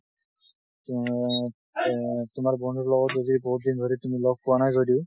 তুমি এ তোমাৰ বন্ধুৰ লগত যদি বহুত ধৰি দিন লগ পোৱা নাই যদিও